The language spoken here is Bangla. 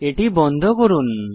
এটি বন্ধ করুন